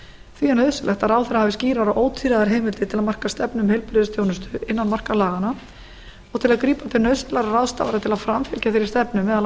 því er nauðsynlegt að ráðherra hafi skýrar og ótvíræðar heimildir til að marka stefnu um heilbrigðisþjónustu innan marka laganna og til að grípa til nauðsynlegra ráðstafana til að framfylgja þeirri stefnu meðal